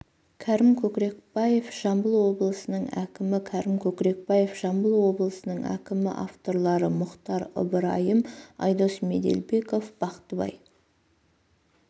кәрім көкрекбаев жамбыл облысының әкімі кәрім көкрекбаев жамбыл облысының әкімі авторлары мұхтар ыбырайым айдос меделбеков бақтыбай